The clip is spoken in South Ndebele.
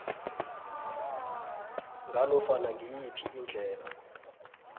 nganofana ngiyiphi indlela